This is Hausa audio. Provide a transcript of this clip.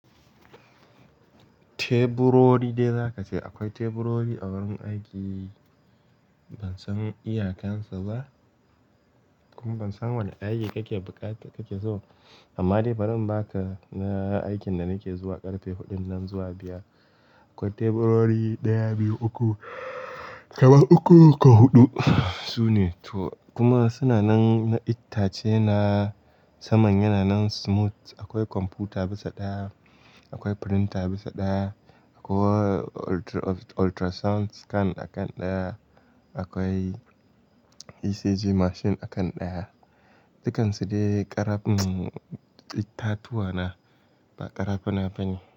Teburori dai zaka ce, akwai teburori a wurin aiki. Ban san iyakan sa ba kuma ban san wana aiki kake buƙata kake so ba. Amma dai barin in baka na aikin da nake zuwa ƙarfe huɗun nan zuwa biyar. Akwai teburori ɗaya, biyu, uku, kamar uku ko huɗu. Sune, to kuma suna nan na ittace na, saman yana nan smooth. Akwai kwamfuta bisa ɗaya, akwai printer bisa ɗaya, akwai ultrasound scan a kan ɗaya, akwai ECG machine a kan ɗaya. Dukkan su dai ƙaraf, itatuwa na ba ƙarafuna bane.